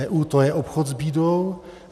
EU - to je obchod s bídou.